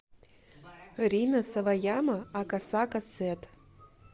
рина саваяма акасака сэд